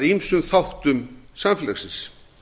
ýmsum þáttum samfélagsins